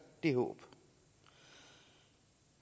det håb